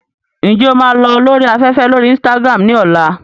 Ǹjẹ́ o máa lọ lórí afẹ́fẹ́ lórí Instagram ní ọ̀la?